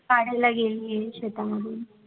काढायला गेलीये शेतामधून